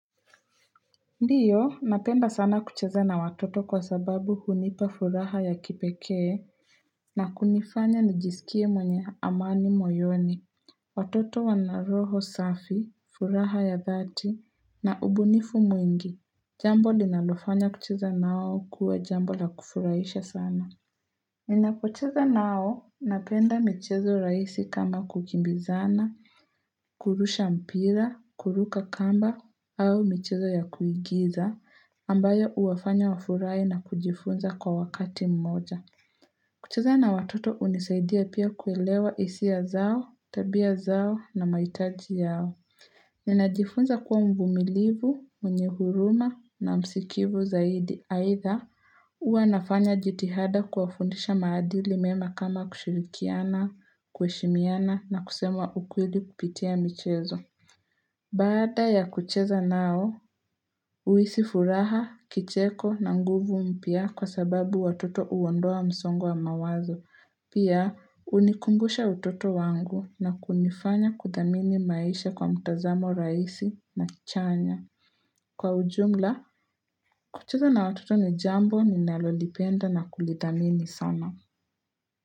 Ndiyo, napenda sana kucheza na watoto kwa sababu hunipa furaha ya kipekee, na kunifanya nijisikie mwenye amani moyoni, watoto wanaroho safi, furaha ya dhati, na ubunifu mwingi, jambo linalofanya kucheza nao kuwe jambo la kufurahisha sana. Nina kucheza nao napenda michezo rahisi kama kukimbizana, kurusha mpira, kuruka kamba au michezo ya kuigiza, ambayo huwafanya wafurahi na kujifunza kwa wakati mmoja. Kucheza na watoto unisaidia pia kuelewa hisia zao, tabia zao na mahitaji yao. Na najifunza kuwa mvumilivu, mwenye huruma na msikivu zaidi. Aidha, huwa nafanya jitihada kuwafundisha maadili mema kama kushirikiana, kuheshimiana na kusema ukweli kupitia michezo. Baada ya kucheza nao, uhisi furaha, kicheko na nguvu mpya kwa sababu watoto uondoa msongo wa mawazo. Pia, unikumbusha utoto wangu na kunifanya kuthamini maisha kwa mtazamo rahisi na chanya. Kwa ujumla, kucheza na watoto ni jambo ninalolipenda na kulithamini sana.